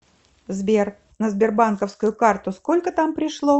сбер на сбербанковскую карту сколько там пришло